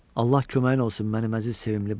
Allah köməyin olsun mənim əziz, sevimli balam.